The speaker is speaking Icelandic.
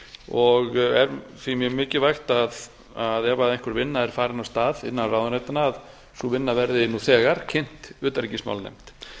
og er því mjög mikilvægt að ef einhver vinna er farin af stað innan ráðuneytanna verði nú þegar kynnt utanríkismálanefnd